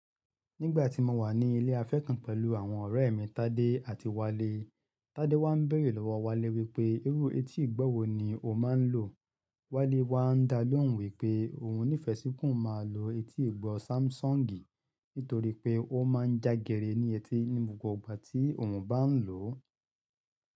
Nígbà tí mo wà ní ilé afẹ́ fún pẹ̀lú àwọn ọ̀rẹ́ mi Tádé àti Wálé, Tádé wá ń bèrè lọ́wọ́ Wálé wípé irú etí ìgbọ́ wo ni ó máa ń lò. Wálé wá ń dá lóhùn wípé òhun nífẹẹ sí kí óun máa lo etí ìgbọ́ Samsung nítorí pé ó máa ń jágere ní etí ní gbogbo ìgbà tí òhun bá ń lò ó.